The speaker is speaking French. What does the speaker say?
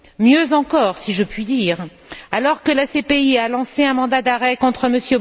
Mieux encore, si je puis dire, alors que la CPI a lancé un mandat d'arrêt contre M.